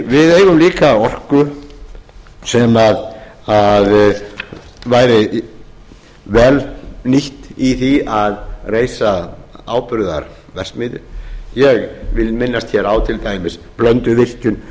við eigum líka orku sem væri vel nýtt í því að reisa áburðarverksmiðju ég vil minnast hér á til dæmis blönduvirkjun